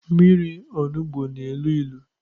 Mmịri ọnugbọ n'elụ ilu